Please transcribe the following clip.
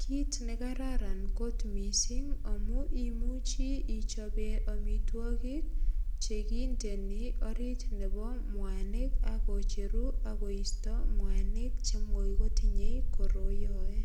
kit nekararan kot mising amu imuchi ichope imitwogik che kindeni orit nebo mwanik ak kocheru ak koisto mwanik chemuch kotinye koroiyoe.